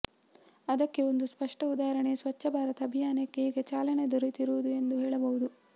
ಅದಕ್ಕೆ ಒಂದು ಸ್ಪಷ್ಟ ಉದಾಹರಣೆ ಸ್ವಚ್ಛ ಭಾರತ ಅಭಿಯಾನಕ್ಕೆ ಈಗ ಚಾಲನೆ ದೊರೆತಿರುವುದು ಎಂದು ಹೇಳಬಹುದು